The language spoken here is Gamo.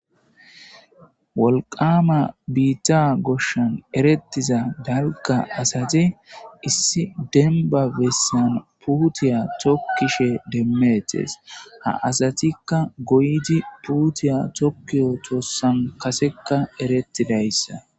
wolqama biitta goshshan erettiza dalga asate issi denba bessan puutiya tokkishe demmettes ha asatikka goydi puutiya tokkiyo toossan kasekka erettidayssa